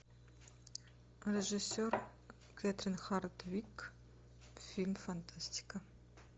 режиссер кэтрин хардвик фильм фантастика